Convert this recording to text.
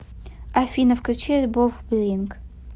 афина включи альбом блинд